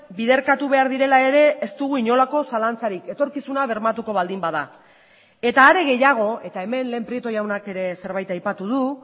biderkatu behar direla ere ez dugu inolako zalantzarik etorkizuna bermatuko baldin bada eta are gehiago eta hemen lehen prieto jaunak ere zerbait aipatu du